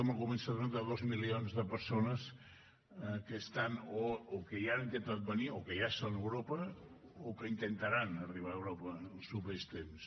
en algun moment s’ha donat de dos milions de persones que estan o que ja han intentat venir o que ja són a europa o que intentaran arribar a europa en els propers temps